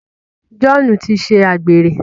John tí ṣe àgbèrè.